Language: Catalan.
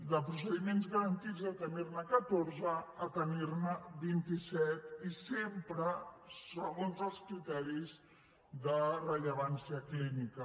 de procediments garantits de tenir ne catorze a tenir ne vint i set i sempre segons els criteris de rellevància clínica